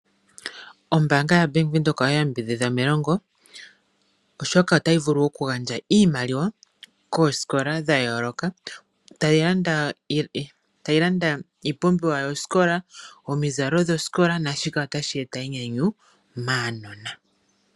Ombaanga yaBank Windhoek oya yambidhidha melongo, oshoka otayi vulu oku gandja iimaliwa koosikola dha yooloka, tayi landa iipumbiwa yosikola, omizalo dhosikola, nashika otashi eta enyanyu maanona.